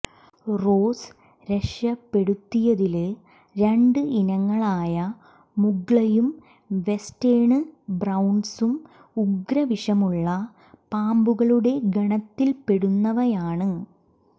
rose രക്ഷപ്പെടുത്തിയതില് രണ്ട് ഇനങ്ങളായ മുഗ്ലയും വെസ്റ്റേണ് ബ്രൌണ്സും ഉഗ്രവിഷമുള്ള പാമ്പുകളുടെ ഗണത്തില്പ്പെടുന്നവയാണ്